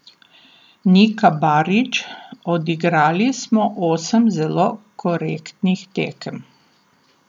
Nika Barič: "Odigrali smo osem zelo korektnih tekem.